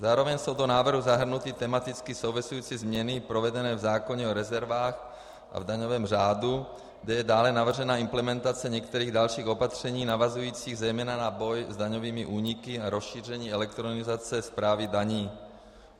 Zároveň jsou do návrhu zahrnuty tematicky související změny provedené v zákoně o rezervách a v daňovém řádu, kde je dále navržena implementace některých dalších opatření navazujících zejména na boj s daňovými úniku a rozšíření elektronizace správy daní.